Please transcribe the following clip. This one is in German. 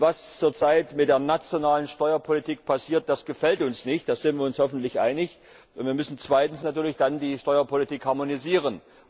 Was zurzeit mit der nationalen Steuerpolitik passiert, gefällt uns nicht, da sind wir uns hoffentlich einig. Wir müssen dann natürlich die Steuerpolitik harmonisieren.